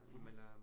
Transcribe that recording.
Mh